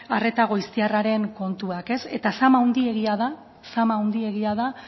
arreta goiztiarraren kontuak eta zama handiegia da zama handiegia da